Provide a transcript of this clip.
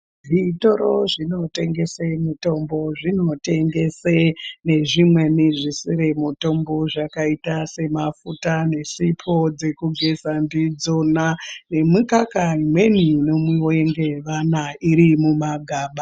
Zvitoro zvinotengesa mitombo zvinotengesa nezvisiri mitombo zvakaita semafuta nesipo dzekugeza ndidzona nemikaka imweni inomwiwa nevana iri mumagaba.